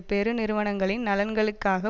பெருநிறுவனங்களின் நலன்களுக்காக